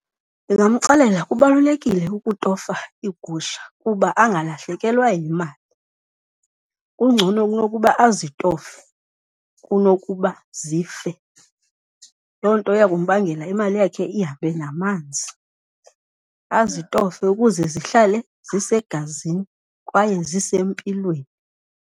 Ndingamxelela kubalulekile ukutofa iigusha uba angalahlekelwa yimali. Kungcono kunokuba azitofe kunokuba zife, loo nto iya kumbangela imali yakhe ihambe namanzi. Azitofe ukuze zihlale zisegazini kwaye zisempilweni.